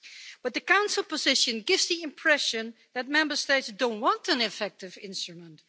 But the Council position gives the impression that Member States don't want an effective instrument.